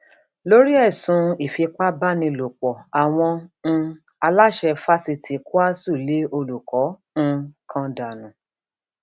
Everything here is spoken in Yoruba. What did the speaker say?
nítorí ẹsùn ìfipábánilòpọ àwọn um aláṣẹ fásitì kwásù lé olùkọ um kan dànù